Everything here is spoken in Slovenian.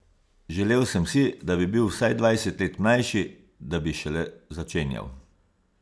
Želel sem si, da bi bil vsaj dvajset let mlajši, da bi šele začenjal.